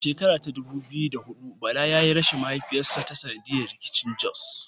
A shekara ta dubu biyu da huɗu Bala yayi rashin mahaifinsa ta sanadiyar rikicin Jos.